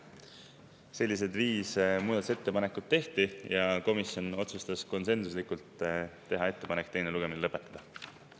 Sellised viis muudatusettepanekut tehti ja komisjon otsustas konsensuslikult teha ettepaneku teine lugemine lõpetada.